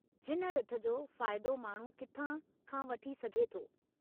हिन रिथ जो फ़ाइदो माण्हू किथां खां वठी सघे थो?